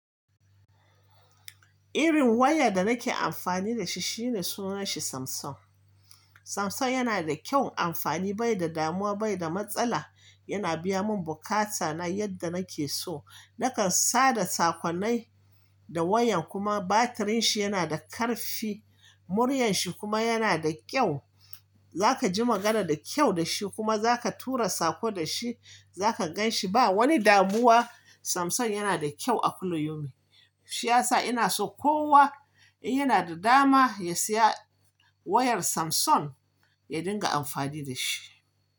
Irin waya da nake amfani da shi shine sunan shi Samsung. Samsung yana da kyaun amfani bai da damuwa bai da matsala. Yana biya mun bukata na yadda nake so. Nakan sada sakonnai da wayan kuma batirin shi yana da karfi. Muryar shi kuma yana da kyau. Za ka ji magana da kyau da shi kuma za ka tura sako da shi. Za ka gan shi ba wani damuwa. Samsung yana da kyau a kullu yau min. Shi ya sa ina so kowa in yana da dama ya siya wayar Samsung ya dinga amfani da shi.